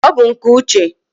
ọ bụ nke Uche.